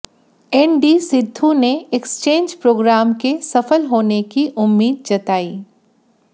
एन्डी सिद्धू ने exchange programme के सफल होने की उम्मीद जताई